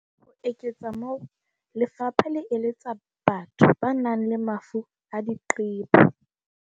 Ho eketsa moo, lefapha le eletsa batho ba nang le mafu a diqebo.